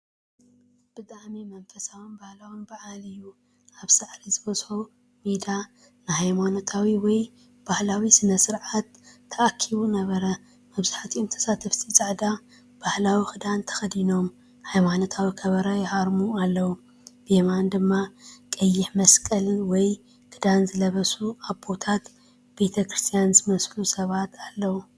ብጣዕሚ መንፈሳውን ባህላውን በዓል እዩ! ኣብ ሳዕሪ ዝበዝሖ ሜዳ ንሃይማኖታዊ ወይ ባህላዊ ስነ-ስርዓት ተኣኪቡ ነበረ። መብዛሕትኦም ተሳተፍቲ ጻዕዳ ባህላዊ ክዳን ተኸዲኖም፡ ሃይማኖታዊ ከበሮ ይሃርሙ ኣለዉ። ብየማን ድማ ቀይሕ መስቀል/ክዳን ዝለበሱ ኣቦታት ቤተክርስትያን ዝመስሉ ሰባት ኣለዉ።